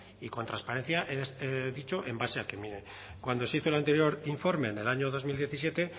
y con transparencia he dicho en base a cuando se hizo el anterior informe en el año dos mil diecisiete